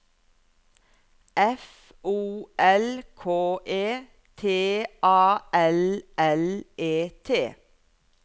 F O L K E T A L L E T